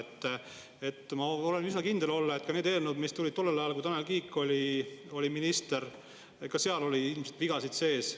Ma üsna kindel olla, et ka nendes eelnõudes, mis tulid tollel ajal, kui Tanel Kiik oli minister, oli vigasid sees.